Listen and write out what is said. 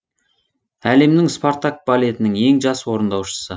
әлемнің спартак балетінің ең жас орындаушысы